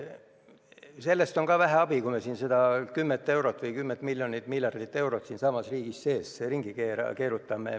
Ja sellest on vähe abi, kui me seda 10 miljonit-miljardit eurot siinsamas riigi sees ringi keerutame.